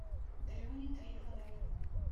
дрюне трифонове